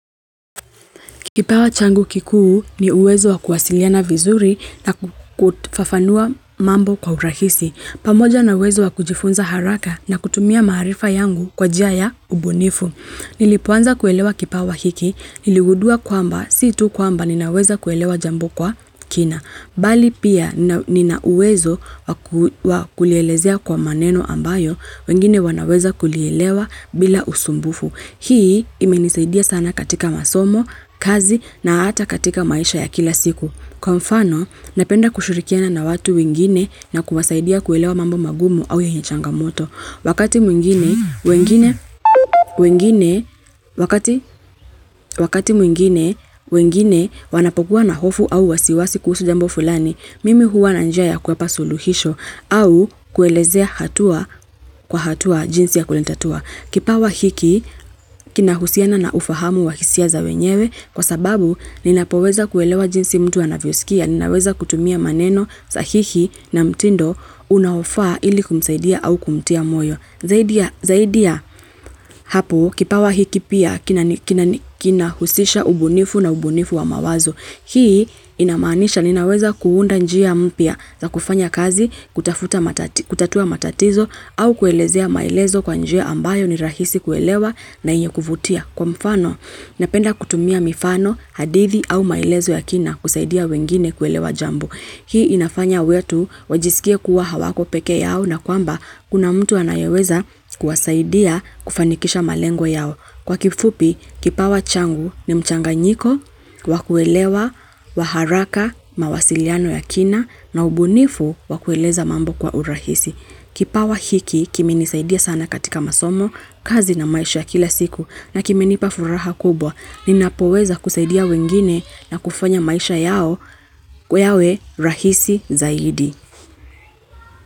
Kipawa changu kikuu ni uwezo wa kuwasiliana vizuri na kufafanua mambo kwa urahisi. Pamoja na uwezo wa kujifunza haraka na kutumia maarifa yangu kwa njia ya ubunifu. Nilipoanza kuelewa kipawa hiki, niligundua kwamba, si tu kwamba ninaweza kuelewa jambo kwa kina. Bali pia nina uwezo wa kulielezea kwa maneno ambayo, wengine wanaweza kulielewa bila usumbufu. Hii imenisaidia sana katika masomo, kazi na hata katika maisha ya kila siku. Kwa mfano, napenda kushirikiana na watu wengine na kuwasaidia kuelewa mambo magumu au yenye changamoto. Wakati mwingine wengine wanapokua na hofu au wasiwasi kuhusu jambo fulani, mimi huwa na njia ya kuwapa suluhisho au kuelezea hatua kwa hatua jinsi ya kulitatua. Kipawa hiki kinahusiana na ufahamu wa hisia za wenyewe kwa sababu ninapoweza kuelewa jinsi mtu anavyosikia, ninaweza kutumia maneno sahihi na mtindo unaofaa ili kumsaidia au kumtia moyo zaidi ya Zaidi ya hapo kipawa hiki pia kinahusisha ubunifu na ubunifu wa mawazo. Hii inamaanisha ninaweza kuunda njia mpya za kufanya kazi kutatua matatizo au kuelezea maelezo kwa njia ambayo ni rahisi kuelewa na yenye kuvutia. Kwa mfano, napenda kutumia mifano, hadithi au maelezo ya kina kusaidia wengine kuelewa jambo Hii inafanya watu, wajisikie kuwa hawako peke yao na kwamba kuna mtu anayeweza kuwasaidia kufanikisha malengo yao. Kwa kifupi, kipawa changu ni mchanganyiko, wa kuelewa kwa haraka, mawasiliano ya kina na ubunifu wa kueleza mambo kwa urahisi. Kipawa hiki kimenisaidia sana katika masomo, kazi na maisha ya kila siku na kimenipa furaha kubwa, ninapoweza kusaidia wengine na kufanya maisha yao yawe rahisi zaidi.